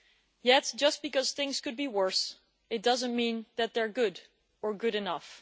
Yet, just because things could be worse, it does not mean that they are good or good enough.